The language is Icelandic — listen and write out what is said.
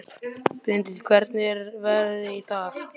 Benedikt, hvernig er veðrið í dag?